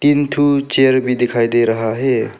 तीन ठो चेयर भी दिखाई दे रहा है।